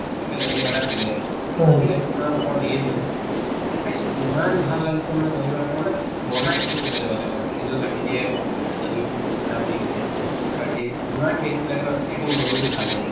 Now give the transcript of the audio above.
তাতে dahi wada দিলে actually দিয়ে দিলে খাইছো ইমান ভাল লাগিছে মানে dahi wada তো মানে বনাই freeze ত ৰাখি দিয়ে dahi তো ঠাণ্ডা কৰি কিনে দিয়ে ইমান tasty লাগে নহয় খাই কিনে মনতো ভাল হৈ যায়